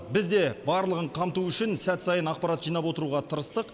біз де барлығын қамту үшін сәт сайын ақпарат жинап отыруға тырыстық